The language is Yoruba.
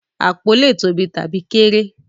Apó lè tóbi tabi kéré.